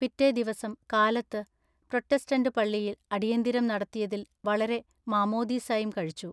പിറ്റെ ദിവസം കാലത്തു പ്രോത്തെസ്താന്തു പള്ളിയിൽ അടിയന്തിരം നടത്തിയതിൽ വളരെ മാമോദീസായും കഴിച്ചു.